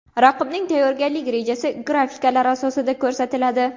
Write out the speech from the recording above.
Raqibning tayyorgarlik rejasi grafikalar asosida ko‘rsatiladi.